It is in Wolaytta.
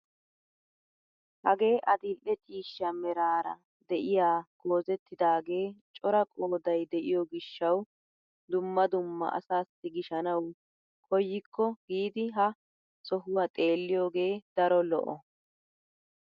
Hagee adil"e ciishsha meraara de'iyaa goozettidagee cora qooday de'iyo gishshawu dumma dumma asassi gishshanawu koykko giidi ha sohuwaa xeelliiyoogee daro lo"o!